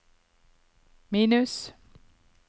minus